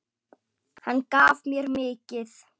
Hann gaf mér mikið.